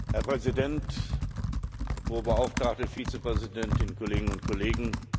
Herr Präsident, Hohe Beauftragte Vizepräsidentin, Kolleginnen und Kollegen!